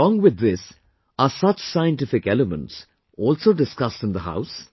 Along with this, are such scientific elements also discussed in the house